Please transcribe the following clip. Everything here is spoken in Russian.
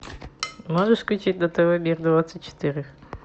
можешь включить на тв мир двадцать четыре